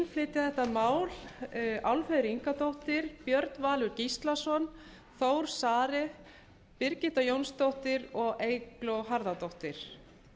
flytja þetta mál álfheiður ingadóttir björn valur gíslason þór saari birgitta jónsdóttir og eygló harðardóttir